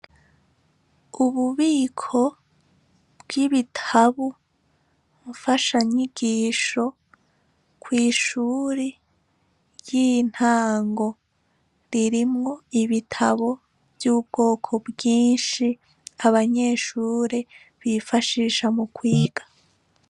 Ububiko bw'ibitabu mfasha nyigisho kw'ishuri ry'intango ririmwo ibitabo vy'ubwoko bwinshi abanyeshure bifashisha mu kwiga.